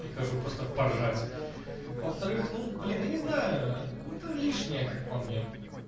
прихожу просто поржать во-вторых ну блин я не знаю это лишнее как по мне